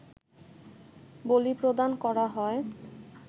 বলিপ্রদান করা হয়